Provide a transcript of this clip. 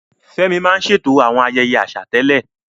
Fẹ́mi máa ń ṣètò àwọn ayẹyẹ àṣà tẹ́lẹ̀.